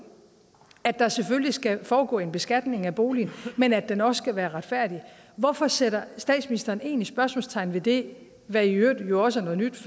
at der selvfølgelig skal foregå en beskatning af boligen men at den også skal være retfærdig hvorfor sætter statsministeren så egentlig spørgsmålstegn ved det det er i øvrigt noget nyt